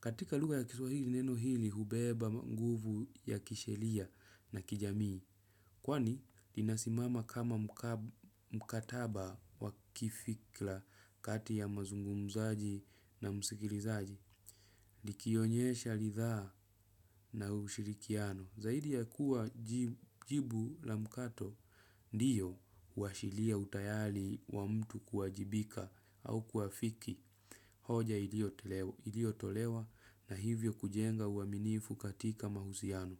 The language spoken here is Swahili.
Katika lugha ya kiswahili neno hili hubeba nguvu ya kisheria na kijamii. Kwani linasimama kama mkataba wa kifikira kati ya mazungumzaji na msikilizaji. Likionyesha rithaa na ushirikiano, zaidi ya kuwa jibu la mkato ndiyo uashilia utayali wa mtu kuajibika au kuafiki hoja iliyotolewa iliyotolewa na hivyo kujenga uaminifu katika mahusiano.